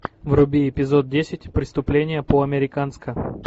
вруби эпизод десять преступление по американски